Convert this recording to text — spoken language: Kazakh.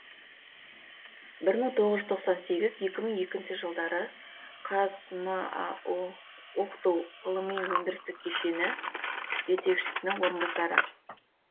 бір мың тоғыз жүз тоқсан сегіз екі мың екінші жылдары қазмау оқыту ғылыми өндірістік кешені жетекшісінің орынбасары